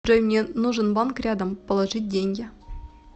джой мне нужен банк рядом положить деньги